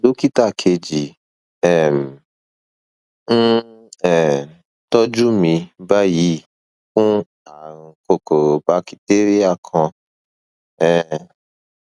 dókítà kejì um ń um tọjú mi báyìí fún ààrùn kòkòrò bakitéríà kan um